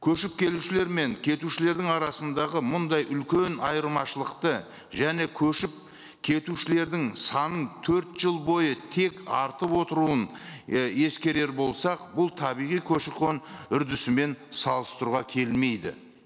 көшіп келішулер мен кетушілердің арасындағы мұндай үлкен айырмашылықты және көшіп кетушілердің санын төрт жыл бойы тек артып отыруын і ескерер болсақ бұл табиғи көші қон үрдісімен салыстыруға келмейді